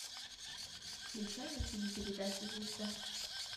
включай на тв передачу звезда